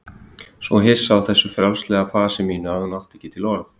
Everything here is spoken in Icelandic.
Svo hissa á þessu frjálslega fasi mínu að hún átti ekki til orð.